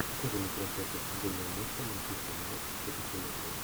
покажи мне трансляцию футбольного матча манчестер юнайтед против эвертона